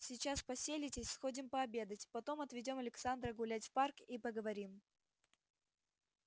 сейчас поселитесь сходим пообедать потом отведём александра гулять в парк и поговорим